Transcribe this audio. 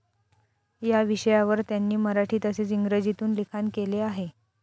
या विषयांवर त्यांनी मराठी तसेच इंग्रजीतून लिखाण केले आहे.